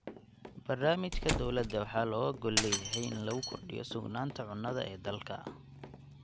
Barnaamijka dowladda waxaa looga gol leeyahay in lagu kordhiyo sugnaanta cunnada ee dalka.